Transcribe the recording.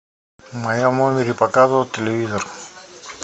в моем номере показывает телевизор